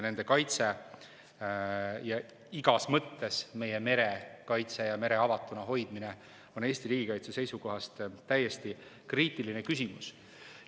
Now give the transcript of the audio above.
Nende kaitse, igas mõttes meie mere kaitse ja mere avatuna hoidmine on Eesti riigikaitse seisukohast täiesti kriitiline küsimus.